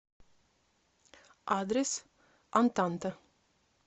адрес антанта